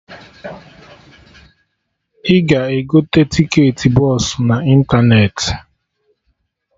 Ị ga-egote tiketị bọsụ na ịntanetị